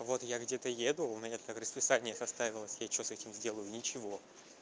вот я где-то еду у меня так расписание составилось я что с этим сделаю ничего